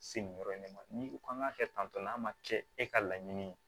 Se nin yɔrɔ in de ma n'i ko k'an k'a kɛ tan tɔ n'a ma kɛ e ka laɲini ye